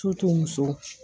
muso